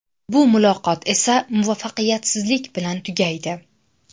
Bu muloqot esa muvaffaqiyatsizlik bilan tugaydi.